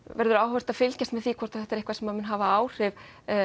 verður áhugavert að fylgjast með því hvort þetta sé eitthvað sem muni hafa áhrif